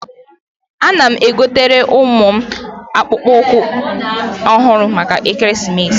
Ana m egotere m ụmụ m akpụkpọ ụkwụ ọhụrụ maka ekeresimesi.